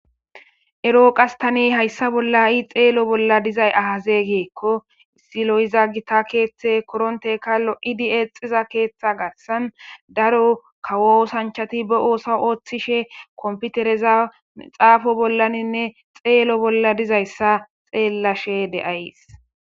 eroqastani hayssa bolla i xeelo bolla dizay ahaze geekko silo7iza gita keeththe koronteka lo7idi eexiza keeththa garsan daro kawosanchati ba oosa ooththishe komputereza mixaafo bollaninne xeelo bolla dizayssa xeellashe deays.